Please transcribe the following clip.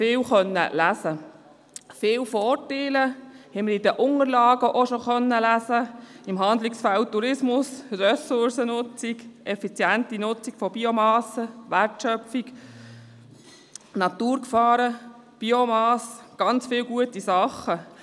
Auch konnten wir viele Vorteile auch bereits in den Unterlagen lesen, etwa zum Handlungsfeld Tourismus die Ressourcennutzung, die effiziente Nutzung von Biomassen, Wertschöpfung, Naturgefahren, Biomassen – ganz viele gute Dinge.